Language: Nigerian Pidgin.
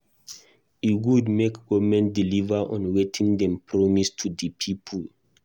E good make government deliver on wetin dem promise to di people.